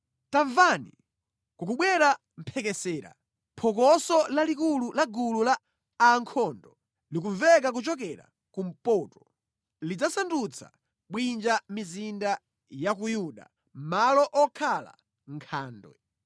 Tamvani! kukubwera mphekesera, phokoso lalikulu la gulu la a ankhondo likumveka kuchokera kumpoto! Lidzasandutsa bwinja mizinda ya ku Yuda, malo okhala nkhandwe.